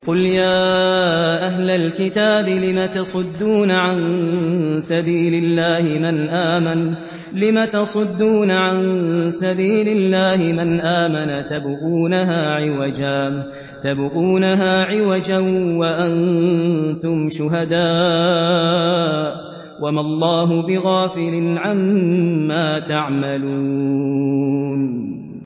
قُلْ يَا أَهْلَ الْكِتَابِ لِمَ تَصُدُّونَ عَن سَبِيلِ اللَّهِ مَنْ آمَنَ تَبْغُونَهَا عِوَجًا وَأَنتُمْ شُهَدَاءُ ۗ وَمَا اللَّهُ بِغَافِلٍ عَمَّا تَعْمَلُونَ